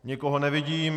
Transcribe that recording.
Nikoho nevidím.